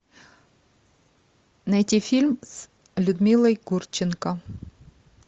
найти фильм с людмилой гурченко